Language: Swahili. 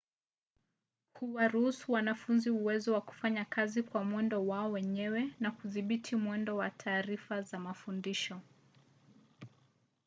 huwaruhusu wanafunzi uwezo wa kufanya kazi kwa mwendo wao wenyewe na kudhibiti mwendo wa taarifa za mafundisho